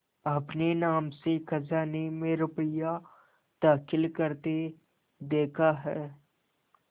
अपने नाम से खजाने में रुपया दाखिल करते देखा है